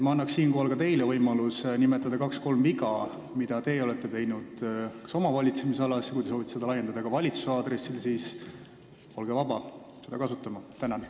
Ma annan ka teile võimaluse nimetada kaks-kolm viga, mida te olete oma valitsemisalas teinud, aga kui te soovite seda laiendada ja öelda midagi kogu valitsuse aadressil, siis olete vaba seda võimalust kasutama.